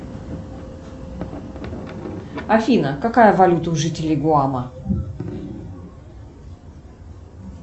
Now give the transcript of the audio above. афина какая валюта у жителей гуама